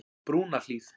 Brúnahlíð